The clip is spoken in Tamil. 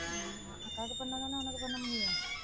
ஆமா அக்காவுக்கு பண்ணாதானே உனக்கு பண்ண முடியும்